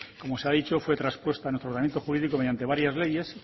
como se ha dicho fue traspuesta en nuestro organismo jurídico mediante varias leyes